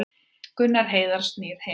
Gunnar Heiðar snýr heim